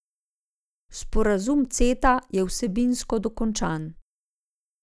Sporazum Ceta je vsebinsko dokončan.